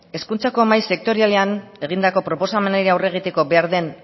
hezkuntzako mahai sektorialean egindako proposamenei aurre egiteko behar den